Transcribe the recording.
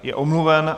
Je omluven.